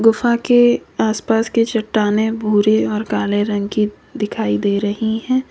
गुफा के आस पास की चट्टानें भूरी और काले रंग की दिखाई दे रही हैं।